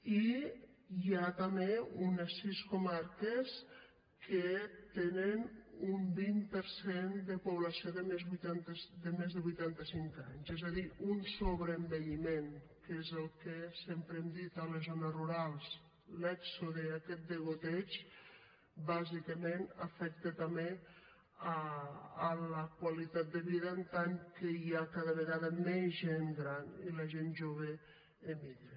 i hi ha també unes sis comarques que tenen un vint per cent de població de més de vuitanta cinc anys és a dir un sobreenvelliment que és el que sempre hem dit a les zones rurals l’èxode aquest degoteig bàsicament afecta també la qualitat de vida en tant que hi ha cada vegada més gent gran i la gent jove emigra